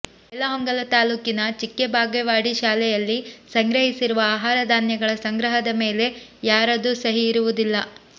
ಬೈಲಹೊಂಗಲ ತಾಲೂಕಿನ ಚಿಕ್ಕ ಬಾಗೇವಾಡಿ ಶಾಲೆಯಲ್ಲಿ ಸಂಗ್ರಹಿಸಿರುವ ಆಹಾರ ಧಾನ್ಯಗಳ ಸಂಗ್ರಹದ ಮೇಲೆ ಯಾರದೂ ಸಹಿ ಇರುವುದಿಲ್ಲ